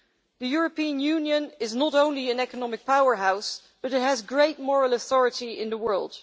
The European Union is not only an economic powerhouse, but it has great moral authority in the world.